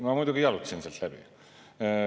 Ma muidugi jalutasin sealt läbi.